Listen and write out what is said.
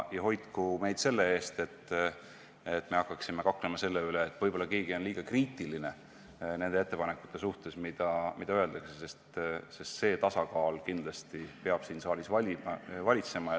Ja hoidku meid selle eest, et hakkaksime kaklema selle üle, et võib-olla on keegi liiga kriitiline nende ettepanekute suhtes, mida öeldakse, sest tasakaal peab siin saalis kindlasti valitsema.